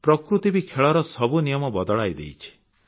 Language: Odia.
ପ୍ରକୃତି ବି ଖେଳର ସବୁ ନିୟମ ବଦଳାଇ ଦେଇଛି